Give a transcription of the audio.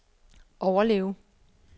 overleve